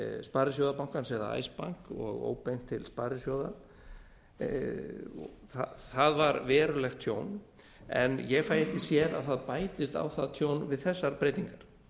sparisjóðabankans eða icebank og óbeint til sparisjóða það var verulegt tjón en ég fæ ekki sé að það bætist á það tjón við þessar breytingar